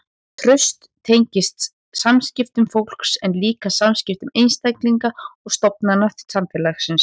Traust tengist samskiptum fólks en líka samskiptum einstaklinga og stofnana samfélagsins.